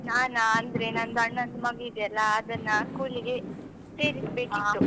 ನಾನಾ, ಅಂದ್ರೆ ನಂದು ಅಣ್ಣಂದು ಮಗು ಇದೆಯಲ್ಲ ಅದನ್ನ school ಗೆ ಸೇರಿಸ್ .